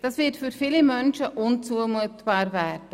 Dies wird für viele Menschen unzumutbar werden.